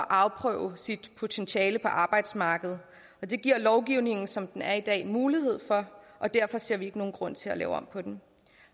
afprøve sit potentiale på arbejdsmarkedet og det giver lovgivningen som den er i dag mulighed for og derfor ser vi ikke nogen grund til at lave om på den